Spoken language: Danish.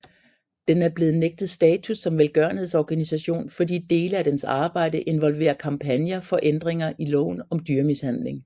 Den er blevet nægtet status som velgørenhedsorganisation fordi dele af dens arbejde involverer kampagner for ændringer i loven om dyremishandling